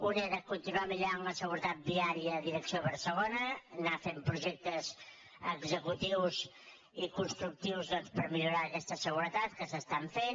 un era continuar millorant la seguretat vià· ria direcció a barcelona anar fent projectes execu·tius i constructius per millorar aquesta seguretat que s’estan fent